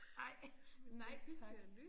Ej nej tak